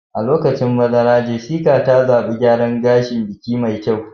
A lokacin bazara, Jessica ta zaɓi gyaran gashin biki mai kyau